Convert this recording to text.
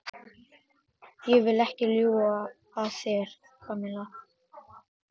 Ég vil ekki ljúga að þér, Kamilla.